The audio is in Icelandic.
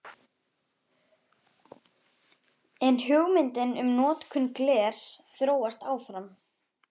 En hugmyndin um notkun glers þróast áfram.